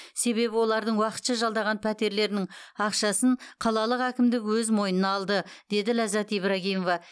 себебі олардың уақытша жалдаған пәтерлерінің ақшасын қалалық әкімдік өз мойнына алды деді ләззат ибрагимова